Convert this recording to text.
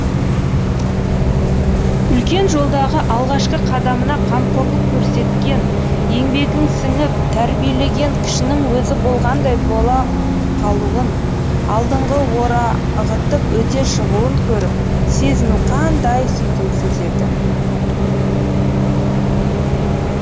үлкен жолдағы алғашқы қадамына қамқорлық көрсеткен еңбегің сіңіп тәрбиелеген кішінің өзі болғандай бола қалуын алдыңды орағытып өте шығуын көріп сезіну қандай сүйкімсіз еді